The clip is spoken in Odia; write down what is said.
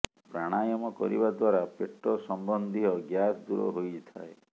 ପ୍ରଣାୟମ କରିବା ଦ୍ୱାରା ପେଟ ସମ୍ୱନ୍ଧୀୟ ଗ୍ୟାସ ଦୂର ହୋଇଥାଏ